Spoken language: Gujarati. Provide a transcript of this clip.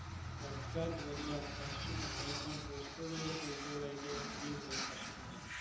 બધા જ, બધા જ, કશું પણ, કઈ પણ, post paid હોય કે pre paid હોય કે free હોય, કશું મને